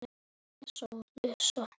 Og hver kynnti þau?